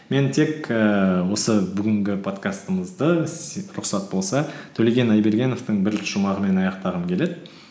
мен тек ііі осы бүгінгі подкастымызды рұқсат болса төлеген айбергеновтың бір шұмағымен аяқтағым келеді